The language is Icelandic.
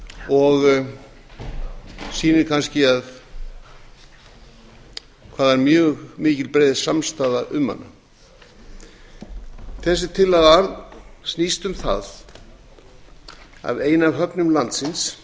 og sýnir kannski hvað það er mjög mikil og breið samstaða um hana þessi tillaga snýst um það að ein af höfnum landsins